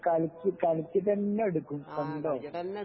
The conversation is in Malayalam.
കളിച്ചു കളിച്ചിട്ട് തന്നെ എടുക്കും കണ്ടോ